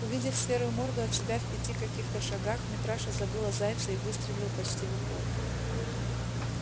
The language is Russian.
увидев серую морду от себя в пяти каких-то шагах митраша забыл о зайце и выстрелил почти в упор